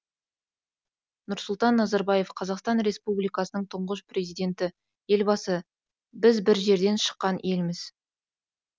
нұрсұлтан назарбаев қазақстан республикасының тұңғыш президенті елбасы біз бір жерден шыққан елміз